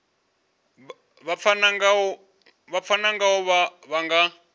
vha pfana ngaho vha nga